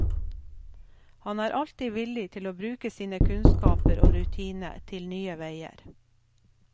Han er alltid villig til å bruke sine kunnskaper og rutine til nye veier.